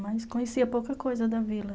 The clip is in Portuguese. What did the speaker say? Mas conhecia pouca coisa da Vila.